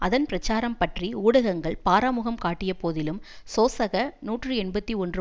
அதன் பிரச்சாரம் பற்றி ஊடகங்கள் பாராமுகம் காட்டிய போதிலும் சோசக நூற்றி எண்பத்தி ஒன்று